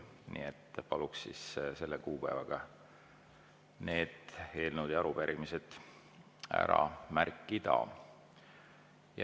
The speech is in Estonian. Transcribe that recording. Nii et paluks selle kuupäeva nendele eelnõudele ja arupärimistele märkida.